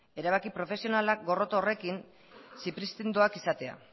erabaki profesionalak gorroto horrekin zipristindoak izatea